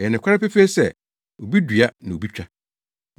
Ɛyɛ nokware pefee sɛ, ‘Obi dua na obi twa.’